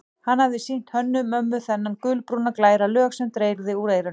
Hann hafði sýnt Hönnu-Mömmu þennan gulbrúna, glæra lög sem dreyrði úr eyranu.